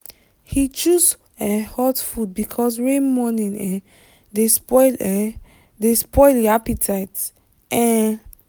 he choose um hot food because rain morning um dey spoil um dey spoil him appetite. um